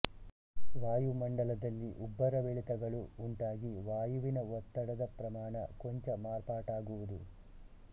ವಾಯುಮಂಡಲದಲ್ಲಿ ಉಬ್ಬರವಿಳಿತಗಳು ಉಂಟಾಗಿ ವಾಯುವಿನ ಒತ್ತಡದ ಪ್ರಮಾಣ ಕೊಂಚ ಮಾರ್ಪಾಟಾಗು ವುದು